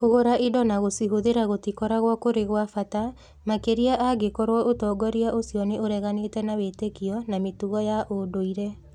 Kũgũra indo na gũcihũthĩra gũtikoragwo kũrĩ gwa bata, makĩria angĩkorũo ũtongoria ũcio nĩ ũreganĩte na wĩtĩkio na mĩtugo ya ũndũire